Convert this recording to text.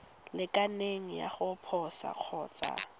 lekaneng ya go posa kgotsa